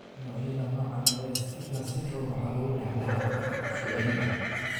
Noocyada noocaan ah ee Stickler syndrome waxaa lagu dhaxlaa hab dib u soo celin ah.